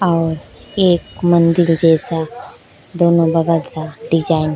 और एक मंदिर जैसा दोनों बगल सा डिजाइन ।